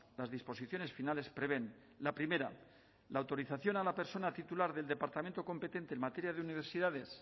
las disposiciones finales prevén la primera la autorización a la persona titular del departamento competente en materia de universidades